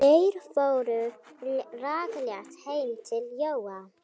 Þeir fóru rakleitt heim til Jóa.